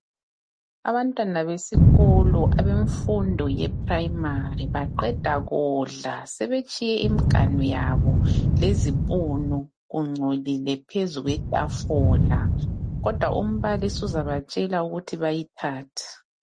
abantwana besikolo abemfundo ye primary baqeda kudla sebetshiye imiganu yabo lezipunu kungcolile phezu kwetafula kodwa umbalisi uzabatshela ukuthi bayithathe